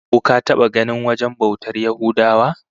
Ko ka taba ganin wajen bautar Yahudawa?